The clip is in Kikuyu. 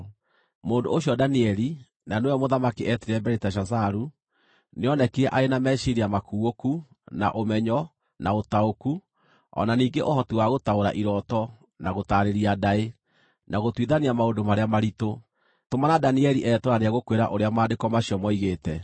Mũndũ ũcio Danieli, na nĩwe mũthamaki eetire Beliteshazaru, nĩonekire arĩ na meciiria makuũku, na ũmenyo, na ũtaũku, o na ningĩ ũhoti wa gũtaũra irooto, na gũtaarĩria ndaĩ, na gũtuithania maũndũ marĩa maritũ. Tũmana Danieli etwo na nĩegũkwĩra ũrĩa maandĩko macio moigĩte.”